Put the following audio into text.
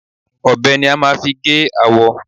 Ọbẹ̀ ni a máa fi gé awọ.